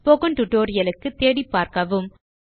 spoken tutorial க்கு தேடிப்பார்க்கவும்